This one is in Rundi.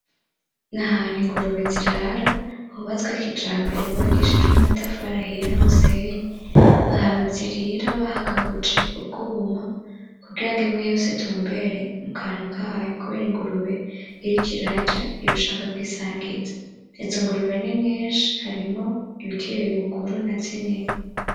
Nahantu ingurube zirara hubatswe kijambere, hubakijwe n'amatafari ahiye n'umusenyi, ahantu zirira bahagabuje ubwuma kugira imwe yose itumbere mukantu kayo, kubera ingurube iriko irarya iba ishaka kwisangiza, izo ngurube ni nyishi harimwo ibikiri nazinini.